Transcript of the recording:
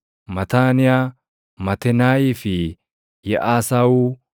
Mataaniyaa, Matenaayii fi Yaʼasaawuu,